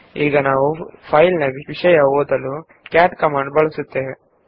ಈಗ ನಾವು ರಚಿಸಿರುವ ಫೈಲ್ ನಲ್ಲಿರುವ ವಿಷಯವನ್ನು ಓದಲು ನಾವು ಕ್ಯಾಟ್ ಕಮಾಂಡ್ ನ್ನು ಬಳಸಬಹುದು